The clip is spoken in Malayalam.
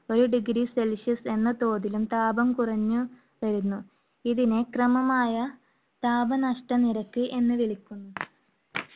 ഒരു degree Celsius എന്ന തോതിലും താപം കുറഞ്ഞു വരുന്നു, ഇതിനെ ക്രമമായ താപ നഷ്ട നിരക്ക് എന്ന് വിളിക്കുന്നു.